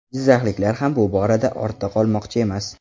Jizzaxliklar ham bu borada ortda qolmoqchi emas.